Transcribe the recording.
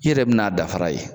I yɛrɛ bɛna a dafara ye.